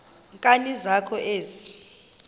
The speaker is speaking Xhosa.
nkani zakho ezi